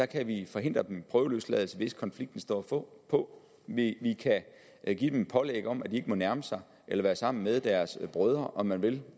kan vi forhindre bliver prøveløsladt hvis konflikten står på på vi kan give dem et pålæg om at de ikke må nærme sig eller være sammen med deres brødre om man vil